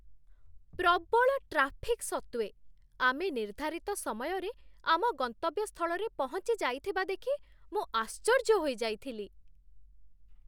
ପ୍ରବଳ ଟ୍ରାଫିକ୍ ସତ୍ତ୍ୱେ, ଆମେ ନିର୍ଦ୍ଧାରିତ ସମୟରେ ଆମ ଗନ୍ତବ୍ୟ ସ୍ଥଳରେ ପହଞ୍ଚିଯାଇଥିବା ଦେଖି ମୁଁ ଆଶ୍ଚର୍ଯ୍ୟ ହୋଇଯାଇଥିଲି!